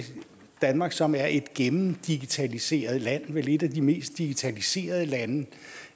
danmark som er et gennemdigitaliseret land vel et af de mest digitaliserede lande